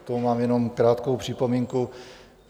K tomu mám jenom krátkou připomínku.